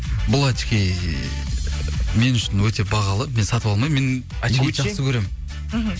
бұл очки мен үшін өте бағалы мен сатып алмаймын мен очкиді жақсы көремін мхм